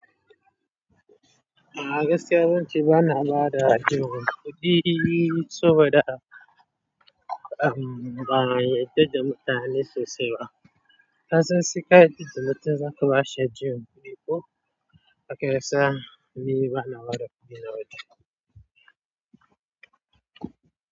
A gaskiya zan ce ba na bada jimmi kuɗi saboda ba'a yarda da mutane sosai ba. Kasan sai ka yadda da mutum zaka bashi juya, kudi ko akai sa ni ba na bada kuɗi na waje.